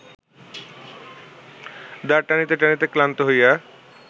দাঁড় টানিতে টানিতে ক্লান্ত হইয়া